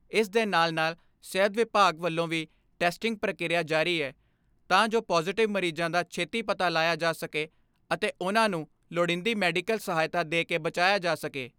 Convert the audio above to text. ਇਸ ਦੇ ਨਾਲ ਨਾਲ ਸਿਹਤ ਵਿਭਾਗ ਵੱਲੋਂ ਵੀ ਟੈਸਟਿੰਗ ਪ੍ਰਕਿਰਿਆ ਜਾਰੀ ਐ ਤਾਂ ਜੋ ਪਾਜੇਟਿਵ ਮਰੀਜ਼ਾਂ ਦਾ ਛੇਤੀ ਪਤਾ ਲਾਇਆ ਜਾ ਸਕੇ ਅਤੇ ਉਨ੍ਹਾਂ ਨੂਮ ਲੋੜੀਂਦੀ ਮੈਡੀਕਲ ਸਹਾਇਤਾ ਦੇ ਕੇ ਬਚਾਇਆ ਜਾ ਸਕੇ।